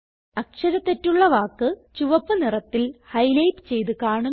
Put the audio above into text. അക്ഷര തെറ്റുള്ള വാക്ക് ചുവപ്പ് നിറത്തിൽ ഹൈലൈറ്റ് ചെയ്ത് കാണുന്നു